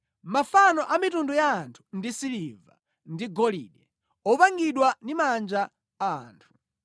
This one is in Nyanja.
Mafano a mitundu ya anthu ndi siliva ndi golide, opangidwa ndi manja a anthu.